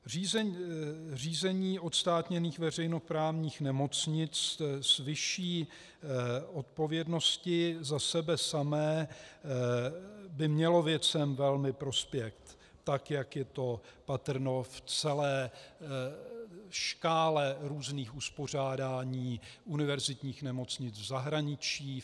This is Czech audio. Řízení odstátněných veřejnoprávních nemocnic s vyšší odpovědností za sebe samé by mělo věcem velmi prospět, tak jak je to patrno v celé škále různých uspořádání univerzitních nemocnic v zahraničí.